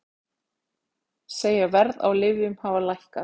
Segja verð á lyfjum hafa lækkað